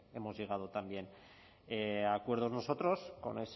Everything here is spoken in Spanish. hemos llegado también a acuerdos nosotros con